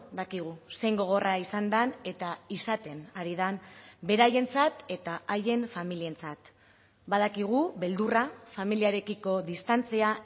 dakigu zein gogorra izan den eta izaten ari den beraientzat eta haien familientzat badakigu beldurra familiarekiko distantzia